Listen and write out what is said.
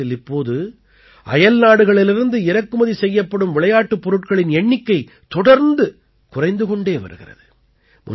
பாரதத்தில் இப்போது அயல்நாடுகளிலிருந்து இறக்குமதி செய்யப்படும் விளையாட்டுப் பொருட்களின் எண்ணிக்கை தொடர்ந்து குறைந்து கொண்டே வருகிறது